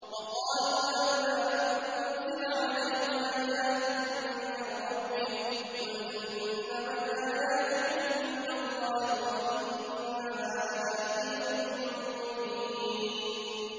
وَقَالُوا لَوْلَا أُنزِلَ عَلَيْهِ آيَاتٌ مِّن رَّبِّهِ ۖ قُلْ إِنَّمَا الْآيَاتُ عِندَ اللَّهِ وَإِنَّمَا أَنَا نَذِيرٌ مُّبِينٌ